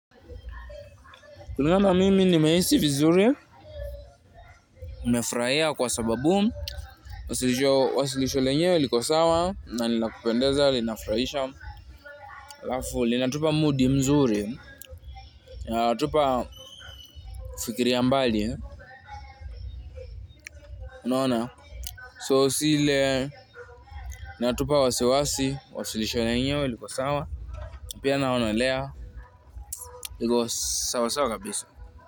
Kulinganana mimi ni mehisi vizuri, nimefurahia kwa sababu, wasilisho lenyewe liko sawa, na nilakupendeza linafurahisha alafuli, natupa moodi mzuri, linatupa fikiria mbali, unaona? So siile linatupa wasiwasi, wasilisho lenyewe liko sawa, pia naonelea, liko sawa sawa kabisa.